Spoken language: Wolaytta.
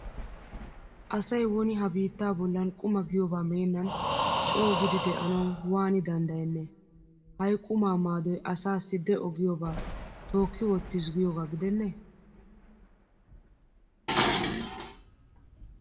Asay woni ha biittaa bollan quma giyoba meennan coogidi de'anawu waani danddayennee? Hayi qumaa maadoy asaassi de'o giyoba tookki wottis giyogaa gidennee?